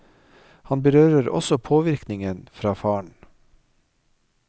Han berører også påvirkningen fra faren.